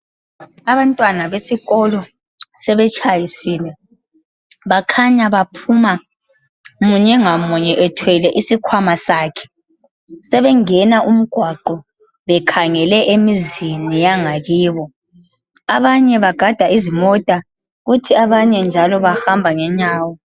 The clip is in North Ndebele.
Abantwana besikolo sebetshayisile bakhanya baphuma munye ngamunye ethwele isikhwama sakhe. Sebengena umgwaqo bekhangele emizini yangakibo. Abanye bagada izimota kuthi abanye njalo bahamba ngenyawo.